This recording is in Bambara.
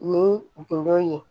Ni gindo ye